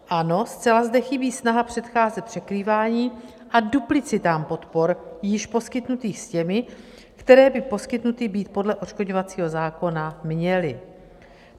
Ano, zcela zde chybí snaha předcházet překrývání a duplicitám podpor již poskytnutých s těmi, které by poskytnuty být podle odškodňovacího zákona měly.